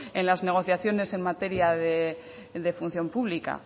en las negociaciones en materia de función pública